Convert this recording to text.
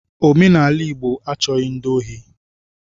Omenala Igbo achọghi ndi ohi